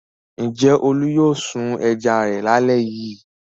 Ǹjẹ́ Olú yóò sun ẹja rẹ̀ lálẹ́ yìí?